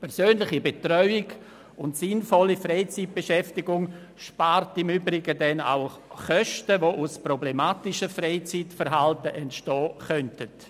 Persönliche Betreuung und sinnvolle Freizeitbeschäftigung spart im Übrigen Kosten, die aus problematischem Freizeitverhalten entstehen könnten.